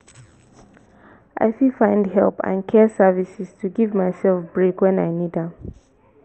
i fit find help and care services to give myself break wen i need am.